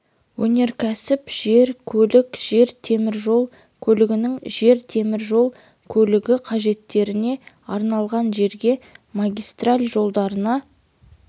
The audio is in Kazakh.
өнеркәсіп жер көлік жер темір жол көлігінің жер темір жол көлігі қажеттеріне арналған жерге магистраль жолдарына